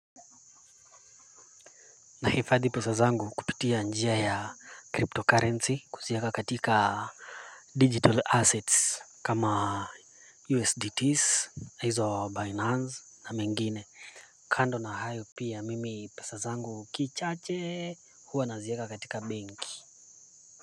Nahifadhi pesa zangu kupitia njia ya cryptocurrency, kuziweka katika digital assets kama USDT na hizo Binance, na mengine kando na hayo. Pia mimi pesa zangu kidogo huwa nazaweka katika benki.